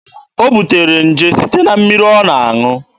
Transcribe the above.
O butere nje site na mmiri ọ na-aṅụ.